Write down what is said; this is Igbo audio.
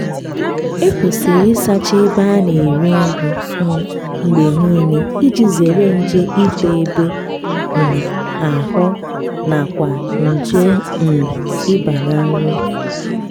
ekwesịrị ịsacha ebe a na-eri nri um mgbe niile iji zere nje ito ebe um ahụ na kwa nje um ịba na nri